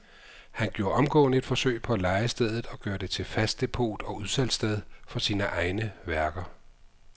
Han gjorde omgående et forsøg på at leje stedet og gøre det til fast depot og udsalgssted for sine egne værker.